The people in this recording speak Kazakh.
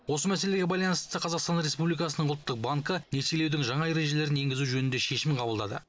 осы мәселеге байланысты қазақтан республикасының ұлттық банкі несиелеудің жаңа ережелерін енгізу жөнінде шешім қабылдады